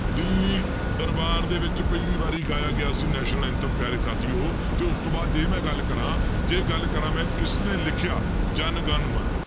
ਦਿੱਲੀ ਦਰਬਾਰ ਦੇ ਵਿੱਚ ਪਹਿਲੀ ਵਾਰੀ ਗਾਇਆ ਗਿਆ ਸੀ national anthem ਪਿਆਰੇ ਸਾਥੀਓ ਤੇ ਉਸ ਤੋਂ ਬਾਅਦ ਜੇ ਮੈਂ ਗੱਲ ਕਰਾਂ ਜੇ ਗੱਲ ਕਰਾਂ ਮੈਂ ਕਿਸਨੇ ਲਿਖਿਆ ਜਨ ਗਨ ਮਨ